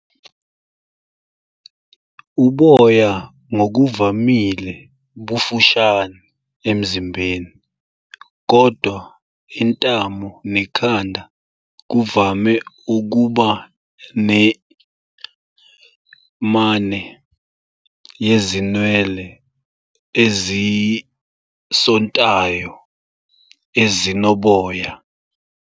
Uboya ngokuvamile bufushane emzimbeni, kodwa intamo nekhanda kuvame ukuba ne- "mane" yezinwele ezisontayo, ezinoboya.